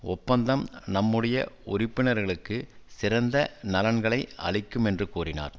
ஒப்பந்தம் நம்முடைய உறுப்பினர்களுக்கு சிறந்த நலன்களை அளிக்கும் என்று கூறினார்